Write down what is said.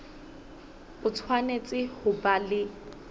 o tshwanetse ho ba le